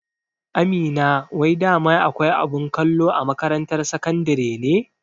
Amina wai dama akwai abin kwallo a makarantar sakandare ne?